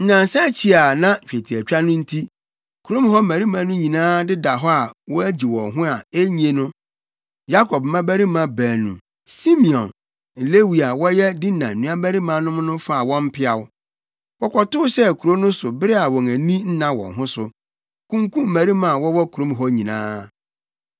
Nnansa akyi a na twetiatwa no nti, kurom hɔ mmarima no nyinaa deda hɔ a wogye wɔn ho a ennye no, Yakob mmabarima baanu Simeon ne Lewi a wɔyɛ Dina nuabarimanom no faa wɔn mpeaw. Wɔkɔtow hyɛɛ kurow no so bere a wɔn ani nna wɔn ho so, kunkum mmarima a wɔwɔ kurom hɔ nyinaa.